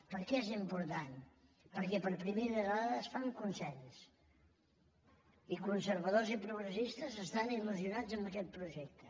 per què és important perquè per primera vegada es fa amb con·sens i conservadors i progressistes estan il·lusionats amb aquest projecte